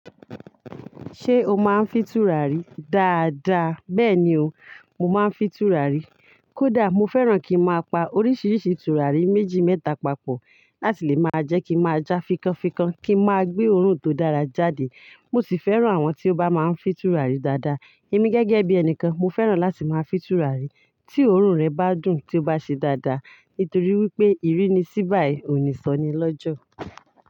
Ṣé o máa ń fì tura rí? Da da, bẹ́ẹ̀ ni o, mo máa ń fì tura rí. Kódà mo fẹ́ràn kí n máa pa oríṣiríṣi tura rí méjì mẹ́ta papọ̀ láti lè máa jẹ́ kí n máa já fikọ́nfikọ́n, kí n máa gbé òórùn tó dára jáde. Mo sì fẹ́ràn àwọn tí ó bá máa ń fì tura rí dáadáa. Èmi gẹ́gẹ́ bí ẹni kan, mo fẹ́ràn láti máa fì tura rí tí òórùn rẹ̀ bá dùn, tí ó bá ṣe dáadáa. Nítorí wípé ìrínisí báyi òníṣọnilọ́jọ̀.